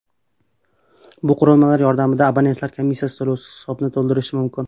Bu qurilmalar yordamida abonentlar komissiya to‘lovisiz hisobni to‘ldirishi mumkin.